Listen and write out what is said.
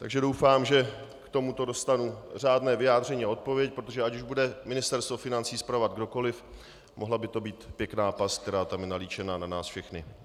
Takže doufám, že k tomuto dostanu řádné vyjádření a odpověď, protože ať už bude Ministerstvo financí spravovat kdokoliv, mohla by to být pěkná past, která tam je nalíčena na nás všechny.